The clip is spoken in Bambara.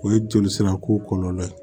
O ye joli sira ko kɔlɔlɔ ye